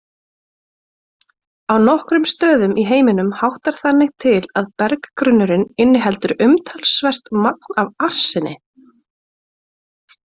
Á nokkrum stöðum í heiminum háttar þannig til að berggrunnurinn inniheldur umtalsvert magn af arseni.